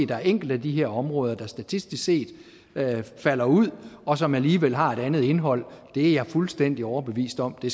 der er enkelte af de her områder der statistisk set falder ud og som alligevel har et andet indhold det er jeg fuldstændig overbevist om vi